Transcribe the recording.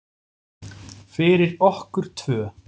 Fyrir okkur tvö.